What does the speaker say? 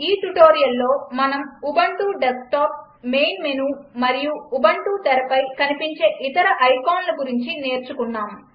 ఈ ట్యుటోరియల్లో మనం ఉబంటు డెస్క్టాప్ మెయిన్ మెనూ మరియు ఉబంటు తెరపై కనిపించే ఇతర ఐకాన్ల గురించి నేర్చుకున్నాం